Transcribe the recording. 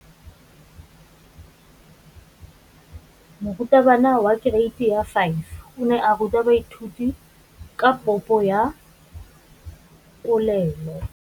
Moratabana wa kereiti ya 5 o ne a ruta baithuti ka popô ya polelô.